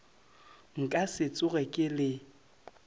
nka se tsoge ke le